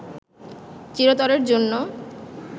চিরতরের জন্য